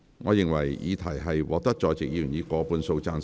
我認為議題獲得在席議員以過半數贊成。